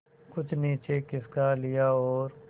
कुछ नीचे खिसका लिया और